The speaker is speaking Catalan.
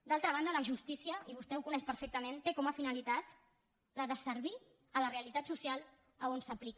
d’altra banda la justícia i vostè ho coneix perfectament té com a finalitat la de servir a la realitat social on s’aplica